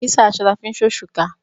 Àkísà aṣọ la fi ńṣe òṣùká.